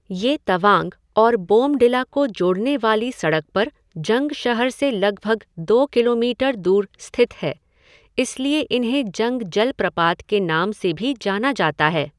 ये तवांग और बोमडिला को जोड़ने वाली सड़क पर जंग शहर से लगभग दो किलोमीटर दूर स्थित है, इसलिए इन्हें जंग जलप्रपात के नाम से भी जाना जाता है।